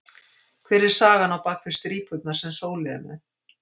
Hver er sagan á bak við strípurnar sem Sóli er með?